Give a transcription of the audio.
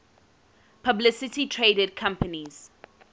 publicly traded companies